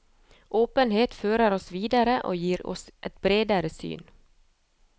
Åpenhet fører oss videre og gir oss et bredere syn.